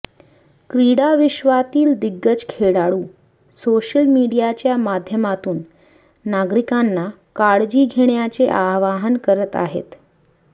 क्रीडा विश्वातील दिग्गज खेळाडू सोशल मीडियाच्या माध्यमातून नागरिकांना काळजी घेण्याचे आवाहन करत आहेत